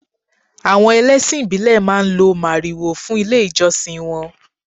Àwọn ẹlẹ́sìn ìbílè máa ń lo màrìwò fún ilé ìjọsìn wọn.